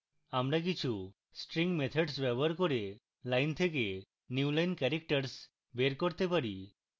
আমরা কিছু string methods ব্যবহার করে lines থেকে newline characters বের করতে পারি